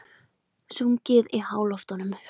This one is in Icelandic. Sungið í háloftunum